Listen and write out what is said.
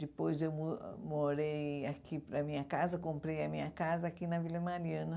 Depois eu mo morei aqui para a minha casa, comprei a minha casa aqui na Vila Mariana.